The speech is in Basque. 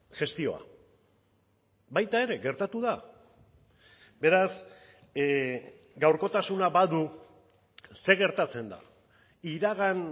gestioa baita ere gertatu da beraz gaurkotasuna badu zer gertatzen da iragan